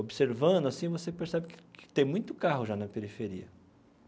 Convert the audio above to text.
Observando assim, você percebe que que tem muito carro já na periferia.